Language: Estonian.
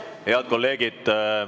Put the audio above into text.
Head kolleegid!